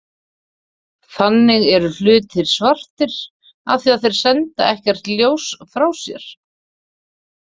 Þannig eru hlutir svartir af því að þeir senda ekkert ljós frá sér.